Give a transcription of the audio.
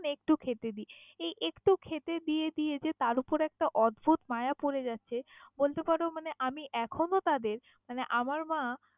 একটু খেতে দি, এই একটু খেতে দিয়ে দিয়ে যে তার উপর যে অদ্ভুত মায়া পড়ে গেছে বলতে পারো আমি এখনও তাদের মানে আমার মা।